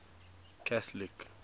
catholic